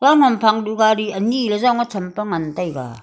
long ham phang duh gari ani ley jong champe ngan taiga.